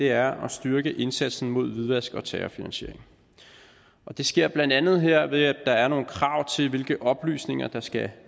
er at styrke indsatsen mod hvidvask og terrorfinansiering det sker blandt andet her ved at der er nogle krav til hvilke oplysninger der skal